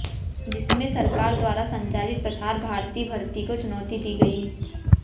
जिसमें सरकार द्वारा संचालित प्रसार भारती भर्ती को चुनौती दी गई है